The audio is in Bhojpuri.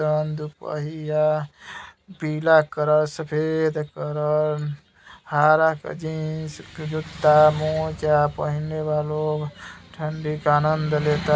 जवन दुपहिया पीला कलर सफ़ेद कलर हरा के जीन्स जूता मोजा पहनले बा लोग ठंडी के आंनद लेता।